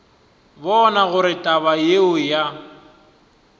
bona gore taba yeo ya